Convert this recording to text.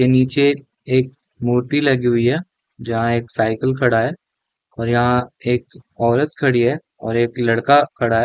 के निचे एक मूर्ति लगी हुई है जहा साइकिल खड़ा है और यहाँ एक औरत खड़ी है और एक लड़का खड़ा है।